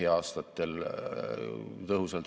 Nii kasvab riigi tulubaas ja puudub vajadus maksukoormuse tõusuks.